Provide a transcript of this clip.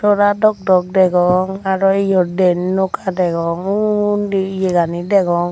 sora dok dok degong aro iyot diyen noka degong undi iyegani degong.